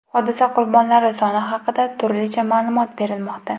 Hodisa qurbonlari soni haqida turlicha ma’lumot berilmoqda.